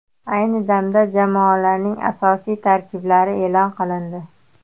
Ayni damda jamoalarning asosiy tarkiblari e’lon qilindi.